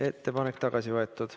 Ettepanek on tagasi võetud.